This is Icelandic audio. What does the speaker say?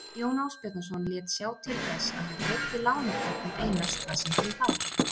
Jón Ásbjarnarson lét sjá til þess að hann greiddi lánardrottnum Einars það sem þeim bar.